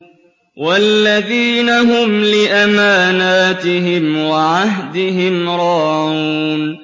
وَالَّذِينَ هُمْ لِأَمَانَاتِهِمْ وَعَهْدِهِمْ رَاعُونَ